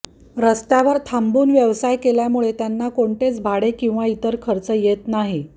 रस्त्यावर थांबून व्यवसाय केल्यामुळे त्यांना कोणतेच भाडे किंवा इतर खर्च येत नाही